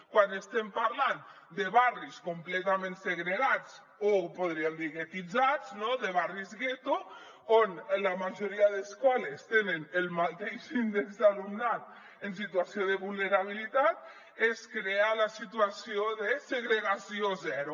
quan estem parlant de barris completament segregats o podríem dir guetitzats no de barris gueto on la majoria d’escoles tenen el mateix índex d’alumnat en situació de vulnerabilitat es crea la situació de segregació zero